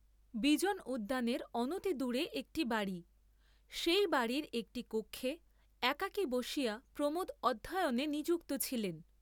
বিজন উদ্যানের অনতিদূরে একটি বাড়ী, সেই বাড়ীর একটি কক্ষে একাকী বসিয়া প্রমোদ অধ্যয়নে নিযুক্ত ছিলেন।